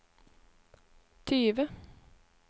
tyve